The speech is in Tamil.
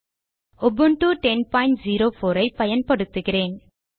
உபுண்டு 1004 ஐ பயன்படுத்துகிறேன்